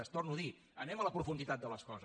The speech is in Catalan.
ho torno a dir anem a la profunditat de les coses